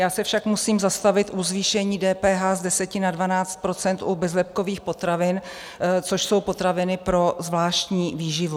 Já se však musím zastavit u zvýšení DPH z 10 na 12 % u bezlepkových potravin, což jsou potraviny pro zvláštní výživu.